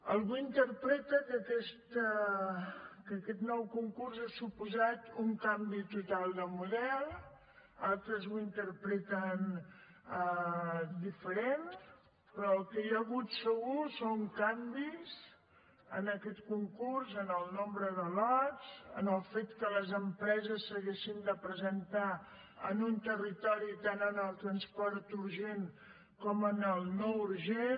algú interpreta que aquest nou concurs ha suposat un canvi total de model altres ho interpreten diferent però el que hi ha hagut segur són canvis en aquest concurs en el nombre de lots en el fet que les empreses s’haguessin de presentar en un territori tant en el transport urgent com en el no urgent